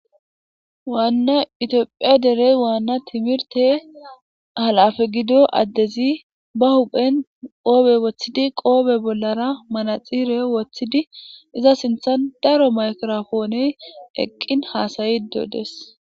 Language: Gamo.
waanna itiophiya derey waanna timirte halafe gido addezi ba huphen qoobe woththidi qoobe bollara manaxire woththidi iza sinthan daro makirofooney eqqin haasayi dodes